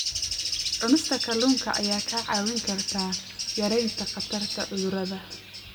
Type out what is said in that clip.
Cunista kalluunka ayaa kaa caawin karta yaraynta khatarta cudurrada.